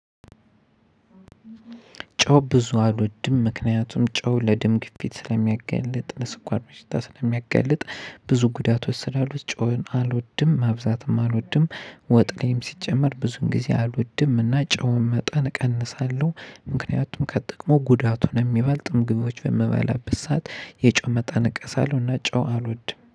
ጨው ብዙ አልወድም ምክንያቱም ጨው ለደም ግፊት ስለሚያጋልጥ ለስኳር በሽታ ስለሚያጋልጥ ብዙ ጉዳቶች ስላሉት ጨውን አልወድም ማብዛትም አልወድም። ወጥ ላይም ሲጨመር ብዙን ጊዜ አልወድም እና ጨውን መጠን እቀንሳለሁ። ምክንያቱም ከጥቅሙ ጉዳቱን የሚባልጥ ምግቦች በምበላበት ሰዓት የጨው መጠን እቀንሳለሁ። እኔ ጨው አልወድም